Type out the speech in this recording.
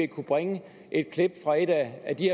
kunne bringe et klip fra et af de